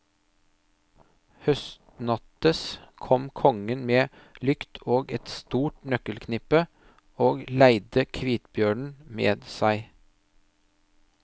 Høgstnattes kom kongen med lykt og et stort nøkkelknippe, og leide kvitbjørnen med seg.